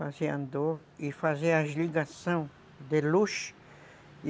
Fazia andor e fazia as ligações de luz